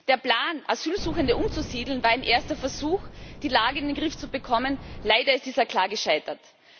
Der Plan, Asylsuchende umzusiedeln, war ein erster Versuch, die Lage in den Griff zu bekommen leider ist dieser klar gescheitert.